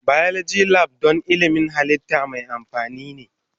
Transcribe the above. Biology Lab don ilmin halitta mai amfani ne.